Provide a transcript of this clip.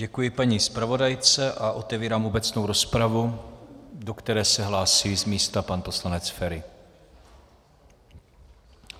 Děkuji paní zpravodajce a otevírám obecnou rozpravu, do které se hlásí z místa pan poslanec Feri.